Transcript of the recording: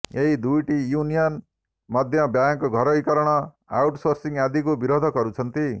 ଏହି ଦୁଇଟି ୟୁନିୟନ ମଧ୍ୟ ବ୍ୟାଙ୍କ ଘରୋଇକରଣ ଆଉଟସୋର୍ସିଂ ଆଦିକୁ ବିରୋଧ କରୁଛନ୍ତି